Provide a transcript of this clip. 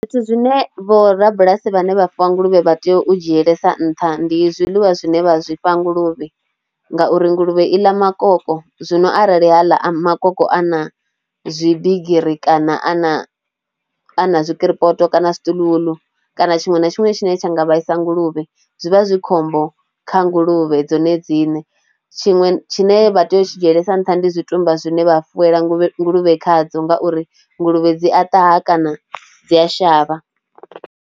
Zwithu zwine vhorabulasi vhane vha fuwa nguluvhe vha tea u dzhielesa nṱha ndi zwiḽiwa zwine vha zwi fha nguluvhe ngauri nguluvhe i ḽa makoloko zwino arali haḽa a makoloko a na zwibigiri kana a na a na zwikiripoto kana zwi steel wool kana tshiṅwe na tshiṅwe tshine tsha nga vhaisa nguluvhe zwi vha zwi khombo kha nguluvhe dzone dzine. Tshiṅwe tshine vha tea u tshi dzielesa nṱha ndi tshitumba zwine vha fuwe nguluvhe khadzo ngauri nguluvhe dzi a ṱavha kana dzi a shavha.